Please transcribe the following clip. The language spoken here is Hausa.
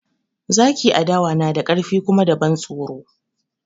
Zaki a dawa na da ƙarfi kuma da ban tsoro